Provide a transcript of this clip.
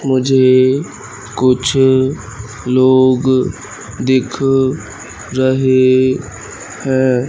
मुझे कुछ लोग दिख रहे हैं।